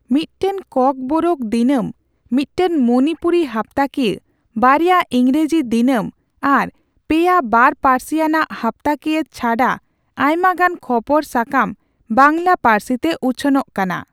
ᱢᱤᱫᱴᱟᱝ ᱠᱚᱠᱵᱳᱨᱳᱠ ᱫᱤᱱᱟᱹᱢ, ᱢᱤᱫᱴᱟᱝ ᱢᱚᱱᱤᱯᱩᱨᱤ ᱦᱟᱯᱛᱟᱠᱤᱭᱟᱹ, ᱵᱟᱨᱭᱟ ᱤᱝᱨᱟᱹᱡᱤ ᱫᱤᱱᱟᱹᱢ ᱟᱨ ᱯᱮᱭᱟ ᱵᱟᱨᱼᱯᱟᱹᱨᱥᱤᱭᱟᱱᱟᱜ ᱦᱟᱯᱛᱟᱠᱤᱭᱟᱹ ᱪᱷᱟᱰᱟ ᱟᱭᱢᱟᱜᱟᱱ ᱠᱷᱚᱵᱚᱨ ᱥᱟᱠᱟᱢ ᱵᱟᱝᱞᱟ ᱯᱟᱹᱨᱥᱤᱛᱮ ᱩᱪᱷᱟᱹᱱᱚᱜ ᱟᱠᱟᱱᱟ ᱾